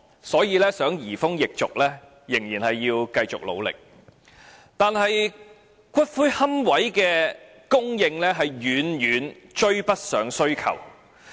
所以，如果想移風易俗，仍需繼續努力，但骨灰龕位供應卻遠遠追不上需求。